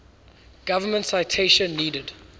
government citation needed